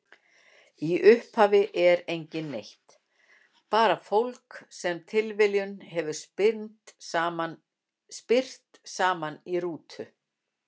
Í upphafi er enginn neitt, bara fólk sem tilviljunin hefur spyrt saman í rútu.